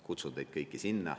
Kutsun teid kõiki sinna.